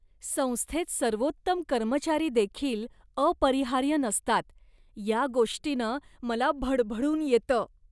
संस्थेत सर्वोत्तम कर्मचारी देखील अपरिहार्य नसतात या गोष्टीनं मला भडभडून येतं.